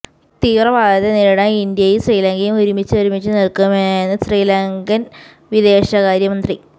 തീവ്രവാദത്തെ നേരിടാൻ ഇന്ത്യയും ശ്രീലങ്കയും ഒരുമിച്ച് ഒരുമിച്ച് നില്ക്കുമെന്ന് ശ്രീലങ്കന് വിദേശകാര്യ മന്ത്രി